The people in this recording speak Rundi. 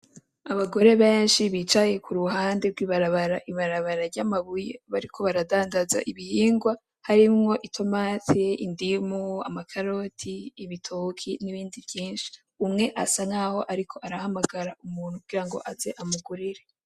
Abagore benshi bicaye kuruhande gw’ibarabara ibarabara ry’amabuye bariko baradandaza ibihingwa harimwo: itomati, indimu, amakaroti, ibitoki n’ibindi vyinshi. Umwe asankaho ariko arahamagara umuntu kugirango aze amugurire.